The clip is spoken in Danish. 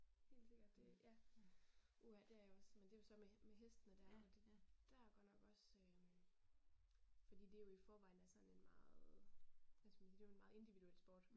Helt sikkert det ja. Uha det jeg også men det jo så det med med hestene der og det der er godt nok også øh fordi det jo i forvejen er sådan en meget, hvad skal man sige, det jo en meget individuel sport